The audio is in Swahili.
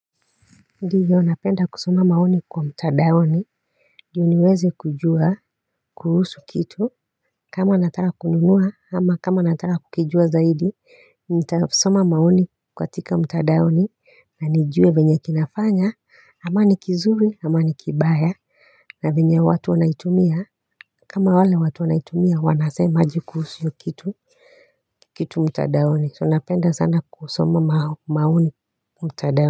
Ndiyo napenda kusoma maoni kwa mtadaoni ndio niweze kujua kuhusu kitu kama nataka kununua ama kama nataka kukijua zaidi Nitasoma maoni kwatika mtadaoni na nijue venye kinafanya ama ni kizuri, ama ni kibaya na venye watu wanaitumia kama wale watu wanaitumia wanasema aje kuhusu hio kitu. Kitu mtadaoni, so napenda sana kusoma maoni mtadaoni.